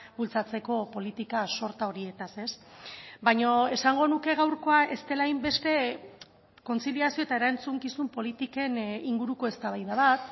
bultzatzeko politika sorta horietaz baina esango nuke gaurkoa ez dela hainbeste kontziliazio eta erantzukizun politiken inguruko eztabaida bat